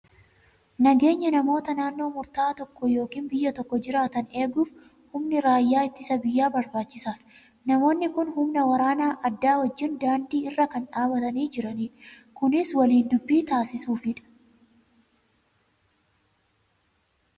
Nageenya namoota naannoo murtaa'aa tokko yookiin biyya tokko jiraatan eeguuf humni raayyaa ittisa biyyaa barbaachisaadha. Namoonni kun humna waraana addaa wajjin daandii irra kan dhaabatanii jiranidha. Kunis waliin dubbii taasisuufidha.